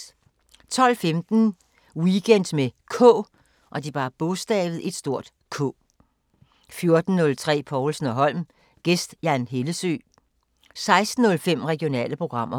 12:15: Weekend med K 14:03: Povlsen & Holm: Gæst Jan Hellesøe 16:05: Regionale programmer